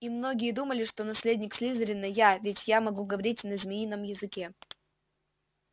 и многие думали что наследник слизерина я ведь я могу говорить на змеином языке